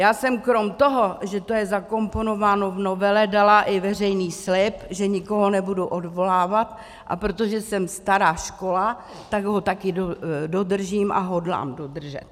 Já jsem krom toho, že to je zakomponováno v novele, dala i veřejný slib, že nikoho nebudu odvolávat, a protože jsem stará škola, tak ho také dodržím a hodlám dodržet.